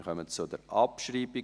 Wir kommen zur Abschreibung.